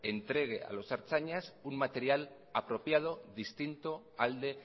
entregue a los ertzainas un material apropiado distinto al de